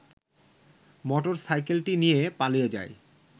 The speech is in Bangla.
মোটর সাইকেলটি নিয়ে পালিয়ে যায়